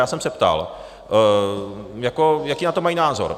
Já jsem se ptal, jaký na to mají názor.